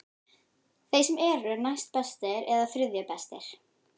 Þeim sem eru næstbestir eða þriðju bestir?